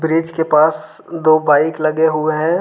Bridge के पास दो बाइक लगे हुए हैं।